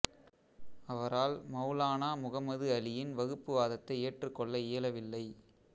அவரால் மௌலானா முஹம்மது அலியின் வகுப்பு வாதத்தை ஏற்றுக்கொள்ள இயலவில்லை